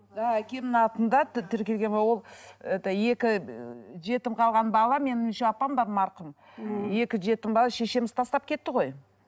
да әкемнің атында тіркелген ол это екі ы жетім қалған бала менің еще апам бар марқұм екі жетім бала шешеміз тастап кетті ғой